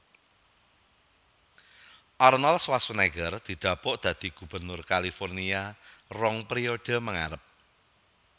Arnold Schwarzenegger didapuk dadi gubernur California rong periode mengarep